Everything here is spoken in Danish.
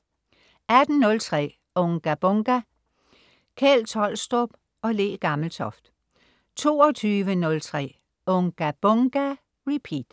18.03 Unga Bunga! Kjeld Tolstrup og Le Gammeltoft 22.03 Unga Bunga! Repeat